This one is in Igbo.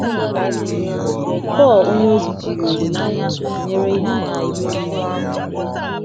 Pọl onyeozi jiri olileanya ahụ tụnyere ihe agha ime mmụọ dị mkpa.